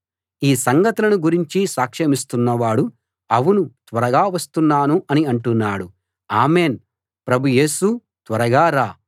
ఈ సంగతులను గురించి సాక్షమిస్తున్న వాడు అవును త్వరగా వస్తున్నాను అని అంటున్నాడు ఆమేన్‌ ప్రభు యేసూ త్వరగా రా